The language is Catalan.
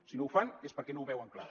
si no ho fan és perquè no ho veuen clar